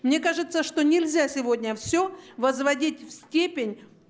мне кажется что нельзя сегодня все возводить в степень